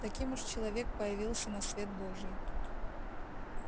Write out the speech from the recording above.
таким уж человек появился на свет божий